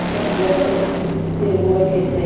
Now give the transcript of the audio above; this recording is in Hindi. इतना जब्त इससे हुआ कैसे